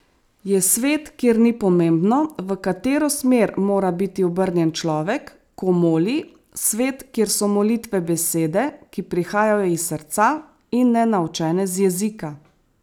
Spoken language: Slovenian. Je svet, kjer ni pomembno, v katero smer mora biti obrnjen človek, ko moli, svet, kjer so molitve besede, ki prihajajo iz srca in ne naučene z jezika?